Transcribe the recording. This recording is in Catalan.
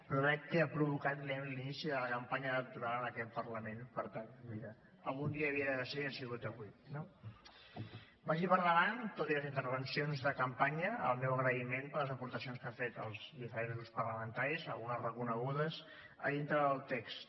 però veig que ha provocat l’inici de la campanya electoral en aquest parlament per tant mira algun dia havia de ser i ha sigut avui no vagi per davant tot i les intervencions de campanya el meu agraïment per les aportacions que han fet els diferents grups parlamentaris algunes reconegudes a dintre del text